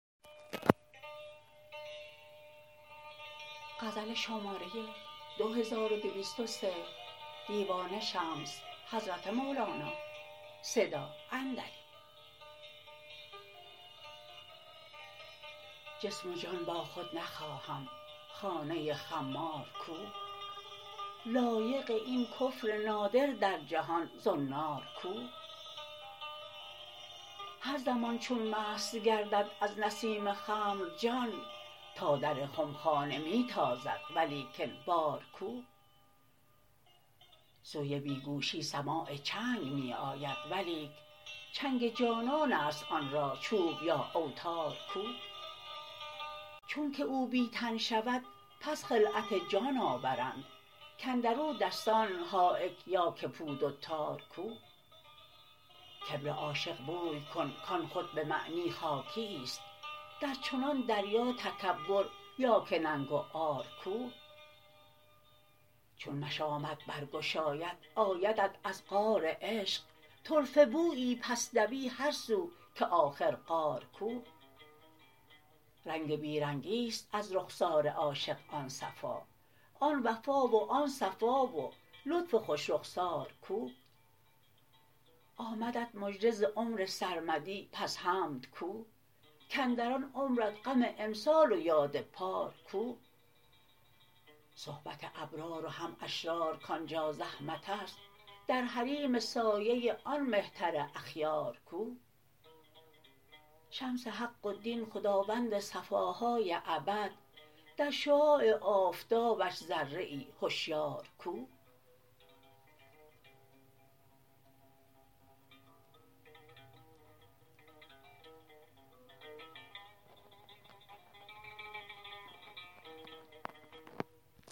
جسم و جان با خود نخواهم خانه خمار کو لایق این کفر نادر در جهان زنار کو هر زمان چون مست گردد از نسیم خمر جان تا در خمخانه می تازد ولیکن بار کو سوی بی گوشی سماع چنگ می آید ولیک چنگ جانان است آن را چوب یا اوتار کو چونک او بی تن شود پس خلعت جان آورند کاندر او دستان حایک یا که پود و تار کو کبر عاشق بوی کن کان خود به معنی خاکیی است در چنان دریا تکبر یا که ننگ و عار کو چون مشامت برگشاید آیدت از غار عشق طرفه بویی پس دوی هر سو که آخر غار کو رنگ بی رنگی است از رخسار عاشق آن صفا آن وفا و آن صفا و لطف خوش رخسار کو آمدت مژده ز عمر سرمدی پس حمد کو کاندر آن عمرت غم امسال و یاد پار کو صحبت ابرار و هم اشرار کان جا زحمت است در حریم سایه آن مهتر اخیار کو شمس حق و دین خداوند صفاهای ابد در شعاع آفتابش ذره هشیار کو